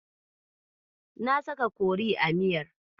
Na saka kori a miyar.